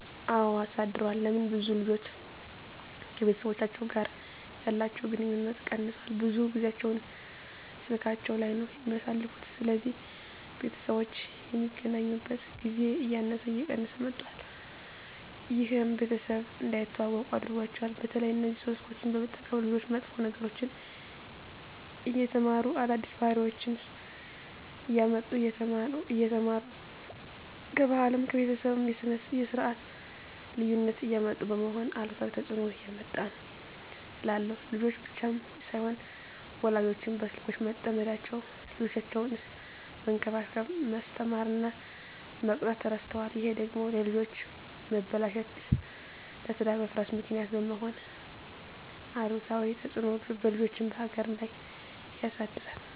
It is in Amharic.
አወ አሳድሯል ለምን ብዙ ልጆች ከቤተሰቦቻቸው ጋር ያለቸዉ ግንኙነት ቀነሷል ብዙ ጊያቸዉን ስላካቸዉ ላይ ነዉ የሚያሳልፉት ስለዚህ ቤተሰቦች የሚገናኙበት ጊዜ እያነሰ እየቀነሰ መጧት ይሄም ቤተሰብ እንዳይተዋወቁ አድርጓቸዋል። በተለይ እነዚህ ስልኮችን በመጠቀም ልጆች መጥፎ ነገሮችን እየተማሩ አዳዲስ ባህሪወችነሰ እያመጡ እየተማሩ ከባህልም ከቤተሰብም የስርት ልዩነት እያመጡ በመሆኑ አሉታዊ ተጽእኖ እያመጣ ነዉ እላለሁ። ልጆች ብቻም ሳይሆኑ ወላጆችም በስልኮች በመጠመዳቸዉ ልጆቻቸዉነሰ መንከባከብ፣ መስተማር እና መቅጣት እረስተዋል ይሄ ደግሞ ለልጆች መበላሸት ለትዳር መፍረስ ምክንያት በመሄን አሉታዊ ተጽእኖ በልጆችም በሀገርም ላይ ያደርሳል።